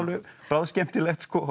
bráðskemmtilegt